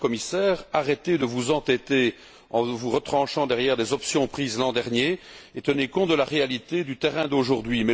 Madame la Commissaire, arrêtez de vous entêter en vous retranchant derrière des options prises l'an dernier et tenez compte de la réalité du terrain d'aujourd'hui!